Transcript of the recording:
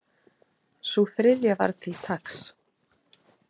Sú þriðja var til taks